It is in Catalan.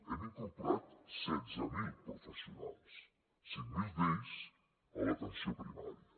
hem incorporat setze mil professionals cinc mil d’ells a l’atenció primària